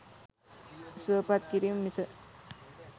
සුවපත් කිරීම මිස